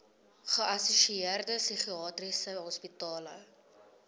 geassosieerde psigiatriese hospitale